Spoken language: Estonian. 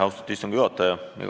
Austatud istungi juhataja!